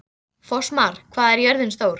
Fossmar, hvað er jörðin stór?